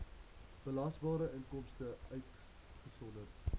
belasbare inkomste uitgesonderd